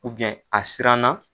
U biyɛn a siran na